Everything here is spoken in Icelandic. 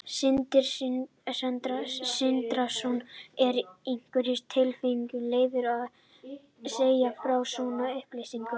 Sindri Sindrason: Er í einhverjum tilfellum leyfilegt að segja frá svona upplýsingum?